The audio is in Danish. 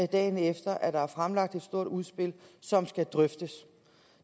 dagen efter at der er fremlagt et stort udspil som skal drøftes